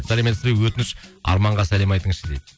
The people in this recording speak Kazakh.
сәлеметсіз бе өтініш арманға сәлем айтыңызшы дейді